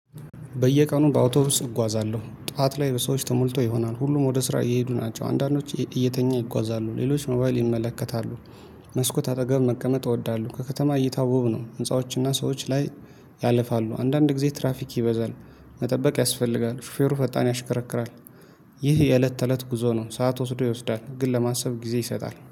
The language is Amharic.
በየቀኑ በአውቶቢስ እጓዛለሁ ጣዋት ላይ በሰዎች ተሞልቶ ይሆናል ሁሉም ወደ ስራ እየሄዱ ናቸው አንዳንዶች እየተኛ ይጓዛሉ ሌሎች ሞባይል ይመለከታሉ። መስኮት አጠገብ መቀመጥ እወዳለሁ። ከከተማ እየታወቡ ነው ህንፃዎችና ሰዎች ላይ። ያለፋሉ አንዳንድ ጊዜ ትራፊክ ይበዛል። መጠበቅ ያስፈልጋል ሹፌሩ ፈጣን ያሽከረክራል። ይህ የእለት ተእለት ጉዞ ነው። ሰዓት ወስዶ ይወስዳል ግን ለማሰብ ጊዜ ይሰጣል